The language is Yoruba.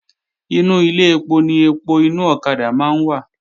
Inú Ilé ẹpo ni ẹpo inú ọ̀kadà máa ń wà